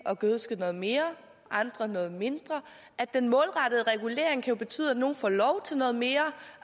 at gødske noget mere andre noget mindre og at den målrettede regulering kan betyde at nogle får lov til noget mere